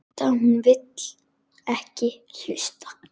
Hún vill ekki hlusta.